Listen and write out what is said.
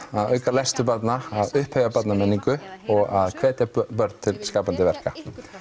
að auka lestur barna að upphefja barnamenningu og að hvetja börn til skapandi verka